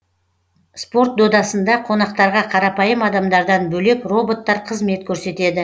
спорт додасында қонақтарға қарапайым адамдардан бөлек роботтар қызмет көрсетеді